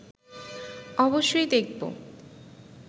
অবশ্যই দেখব